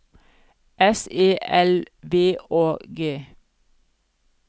S E L V Å G